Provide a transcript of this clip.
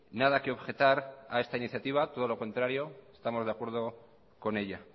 nada que objetar a esta iniciativa todo lo contrario estamos de acuerdo con ella